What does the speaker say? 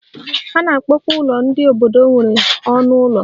A na-akpọkwa ụlọ ndị obodo nwere ọnụ ụlọ